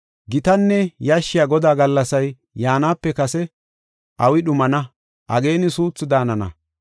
Gitanne yashshiya Godaa gallasay yaanape kase, awi dhumana; ageeni suuthu daanana.